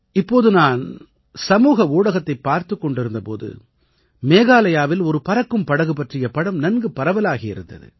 இப்போது நான் சமூக ஊடகத்தைப் பார்த்துக் கொண்டிருந்த போது மேகாலயாவில் ஒரு பறக்கும் படகு பற்றிய படம் நன்கு பரவலாகி இருந்தது